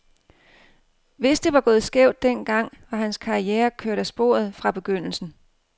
Hvis det var gået skævt den gang, var hans karriere kørt af sporet fra begyndelsen.